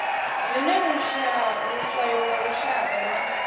zwine luswayo lwa lushaka lwa